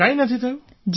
કંઈ નથી થયું